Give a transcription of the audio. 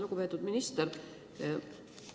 Lugupeetud minister!